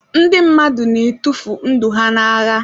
Ndị mmadụ na-atụfu ndụ ha n'agha